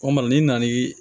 O ma na n'i na n'i